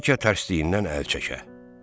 Bəlkə tərslindən əl çəkər.